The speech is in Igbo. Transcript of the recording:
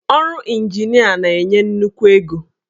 Ọrụ injinia na-enye nnukwu ego.